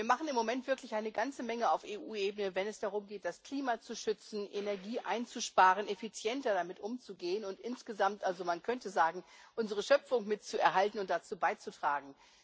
Wir machen im Moment wirklich eine ganze Menge auf EU Ebene, wenn es darum geht, das Klima zu schützen, Energie einzusparen, effizienter damit umzugehen, insgesamt könnte man also sagen unsere Schöpfung mitzuerhalten und dazu beizutragen.